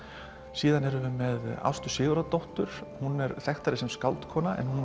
síðan erum við með Ástu Sigurðardóttur hún er þekktari sem skáld en hún